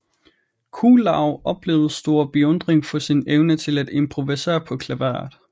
Kuhlau oplevede stor beundring for sin evne til at improvisere på klaveret